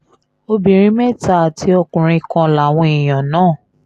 obìnrin mẹ́ta àti ọkùnrin kan làwọn èèyàn náà